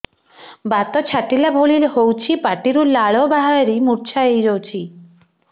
ବାତ ଛାଟିଲା ଭଳି ହଉଚି ପାଟିରୁ ଲାଳ ବାହାରି ମୁର୍ଚ୍ଛା ହେଇଯାଉଛି